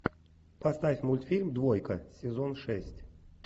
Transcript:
поставь мультфильм двойка сезон шесть